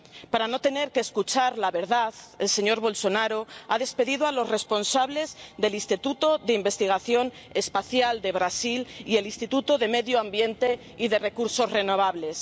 Para no tener que escuchar la verdad el señor Bolsonaro ha despedido a los responsables del Instituto de Investigación Espacial de Brasil y el Instituto de Medio Ambiente y de Recursos Renovables.